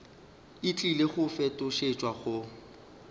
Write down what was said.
e tlile go fetošetšwa go